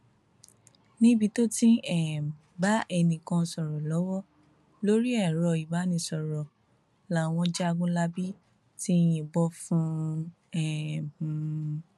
níbi tó ti ń um bá ẹnìkan sọrọ lọwọ lórí ẹrọ ìbánisọrọ làwọn jagunlabí ti yìnbọn fún um un